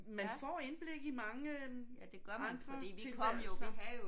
Man får indblik i mange øh andre tilværelser